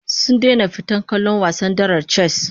Sun daina fita kallon wasan darar chess